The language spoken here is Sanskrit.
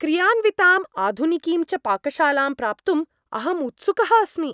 क्रियान्विताम् आधुनिकीं च पाकशालां प्राप्तुं अहं उत्सुकः अस्मि।